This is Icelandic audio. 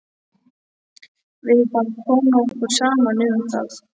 Við bara komum okkur saman um það.